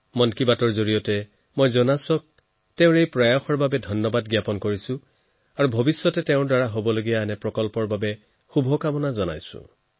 মন কী বাতৰ জৰিয়তে জোনাছৰ প্ৰচেষ্টাসমূহৰ বাবে তেওঁক অভিনন্দন আৰু তেওঁৰ ভৱিষ্যত প্ৰচেষ্টাৰ বাবে শুভকামনা জনাইছো